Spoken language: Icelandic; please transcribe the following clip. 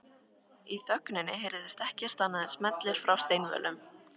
Í þögninni heyrist ekkert annað en smellir frá steinvölum